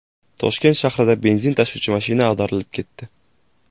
Toshkent shahrida benzin tashuvchi mashina ag‘darilib ketdi.